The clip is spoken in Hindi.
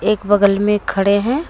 एक बगल में खड़े है।